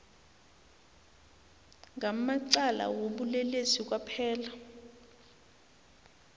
ngamacala wobulelesi kwaphela